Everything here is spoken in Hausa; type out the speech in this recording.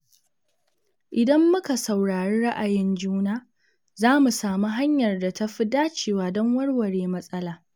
Idan muka saurari ra’ayin juna, za mu samu hanyar da ta fi dacewa don warware matsala.